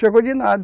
Chegou de nada.